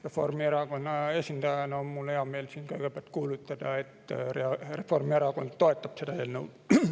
Reformierakonna esindajana on mul hea meel kõigepealt kuulutada, et Reformierakond toetab seda eelnõu.